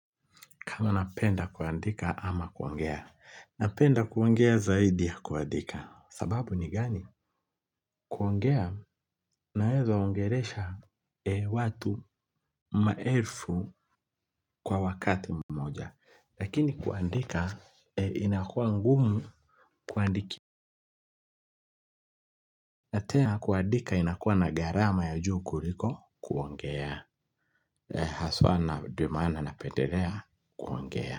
Kama napenda kuandika ama kuongea. Napenda kuongea zaidi ya kuandika. Sababu ni gani? Kuongea naeza ongelesha watu maelfu kwa wakati mmoja. Lakini kuandika inakuwa ngumu kuandiki. Na tena kuandika inakuwa na gharama ya juu kuliko kuongea. Haswa na ndio maana napendelea kuongea.